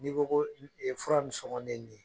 N'i ko ko fura nin sɔngɔn ne ni ye